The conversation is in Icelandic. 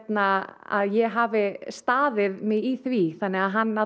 að að ég hafi staðið mig í því þannig að hann